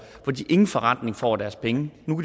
de ingen forrentning får af deres penge nu